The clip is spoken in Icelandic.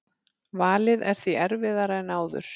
Valið er því erfiðara en áður